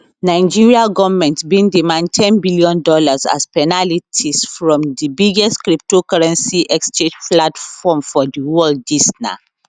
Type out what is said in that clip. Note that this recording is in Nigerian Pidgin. nigeria goment bin demand ten billion dollars as penalties from di biggest cryptocurrency exchange platform for di world dis na